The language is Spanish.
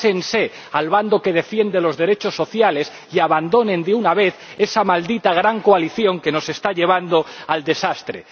Pásense al bando que defiende los derechos sociales y abandonen, de una vez, esa maldita gran coalición que nos está llevando al desastre.